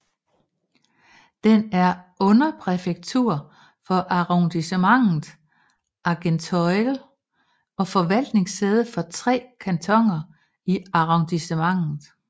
Den er underpræfektur for Arrondissementet Argenteuil og forvaltningssæde for tre kantoner i arrondissementet